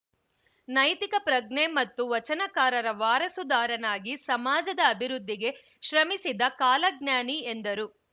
ನೈತಿಕ ಪ್ರಜ್ಞೆ ಮತ್ತು ವಚನಕಾರರ ವಾರಸುದಾರನಾಗಿ ಸಮಾಜದ ಅಭಿವೃದ್ಧಿಗೆ ಶ್ರಮಿಸಿದ ಕಾಲಜ್ಞಾನಿ ಎಂದರು